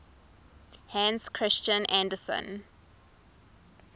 hans christian andersen